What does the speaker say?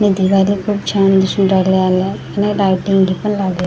भिंतीचा रंग खूप छान दिसून राहिला आणि बाहेर लाइटिंग पण लागे--